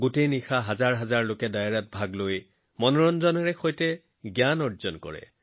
গোটেই ৰাতি হাজাৰ হাজাৰ লোকে ডায়েৰাত গোট খাই মনোৰঞ্জনৰ জৰিয়তে জ্ঞান আহৰণ কৰে